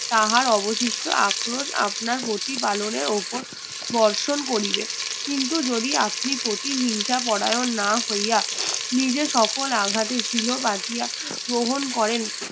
তাহার অবশিষ্ট আক্রোশ আপনার প্রতি পালনের ওপর বর্ষণ করিবেন কিন্তু যদি আপনি প্রতিহিংসা পরায়ন না হইয়া নিজে সকল আঘাতি সিলো বাধিয়া ছিল গ্রহণ করেন